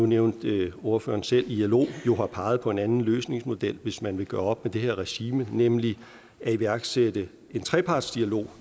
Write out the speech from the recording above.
nævnte ordføreren selv at ilo jo har peget på en anden løsningsmodel hvis man vil gøre op med det her regime nemlig at iværksætte en trepartsdialog